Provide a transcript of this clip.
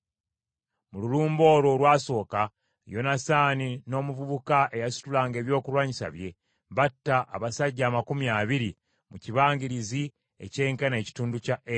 Mu lulumba olwo olwasooka, Yonasaani n’omuvubuka eyasitulanga ebyokulwanyisa bye, batta abasajja amakumi abiri mu kibangirizi ekyenkana ekitundu kya eka.